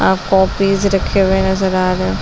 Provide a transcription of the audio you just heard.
आप कॉपिस रखे हुये नजर आ रहे हैं।